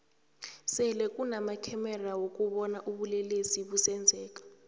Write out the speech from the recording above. sele kunama khamexa wokubona ubulelesi busenzeka